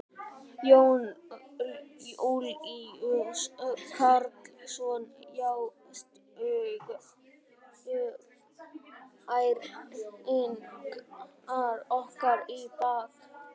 Jón Júlíus Karlsson: Já, stungu Færeyingar okkur í bakið?